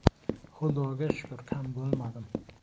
Xudoga shukr, kam bo‘lmadim.